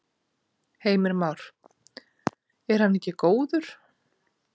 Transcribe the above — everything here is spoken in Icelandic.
Heimir Már: Er hann ekki góður?